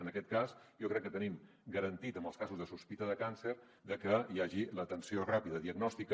en aquest cas jo crec que tenim garantit en els casos de sospita de càncer que hi hagi l’atenció ràpida diagnòstica